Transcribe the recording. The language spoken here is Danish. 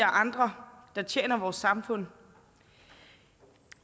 og andre der tjener vores samfund